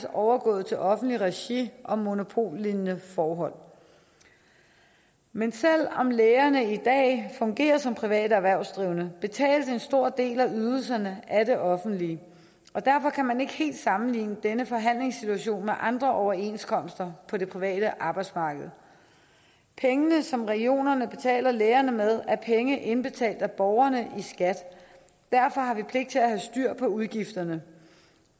overgået til offentligt regi og monopollignende forhold men selv om lægerne i dag fungerer som private erhvervsdrivende betales en stor del af ydelserne af det offentlige derfor kan man ikke helt sammenligne denne forhandlingssituation med andre overenskomster på det private arbejdsmarked pengene som regionerne betaler lægerne med er penge indbetalt af borgerne i skat derfor har vi pligt til at have styr på udgifterne